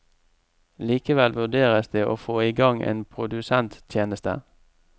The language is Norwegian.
Likevel vurderes det å få i gang en produsenttjeneste.